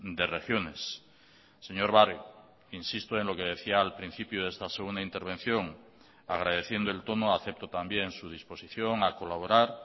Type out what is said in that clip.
de regiones señor barrio insisto en lo que decía al principio de esta segunda intervención agradeciendo el tono acepto también su disposición a colaborar